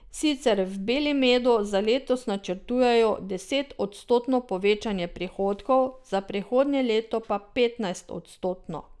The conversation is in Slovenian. Sicer v Belimedu za letos načrtujejo desetodstotno povečanje prihodkov, za prihodnje leto pa petnajstodstotno.